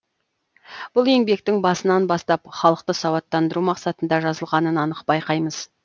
бұл еңбектің басынан бастап халықты сауаттандыру мақсатында жазылғанын анық байқаймыз